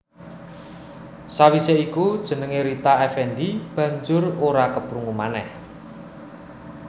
Sawisé iku jenengé Rita Effendy banjur ora keprungu manèh